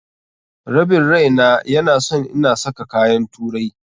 Rabin raina ya na son ina saka kayan turai.